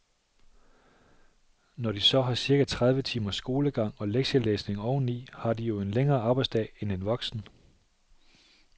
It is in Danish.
Når de så har cirka tredive timers skolegang og lektielæsning oven i, har de jo en længere arbejdsdag end en voksen.